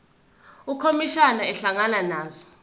ukhomishana ehlangana nazo